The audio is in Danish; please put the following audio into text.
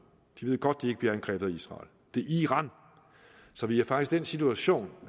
de ved godt at de ikke bliver angrebet af israel det er i iran så vi er faktisk i den situation